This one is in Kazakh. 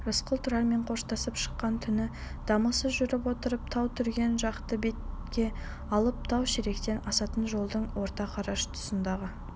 рысқұл тұрармен қоштасып шыққан түні дамылсыз жүріп отырып тау-түрген жақты бетке алып тау-шелектен асатын жолдың орта қараш тұсындағы